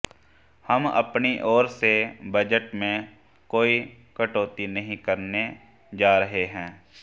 हम अपनी ओर से बजट में कोई कटौती नहीं करने जा रहे हैं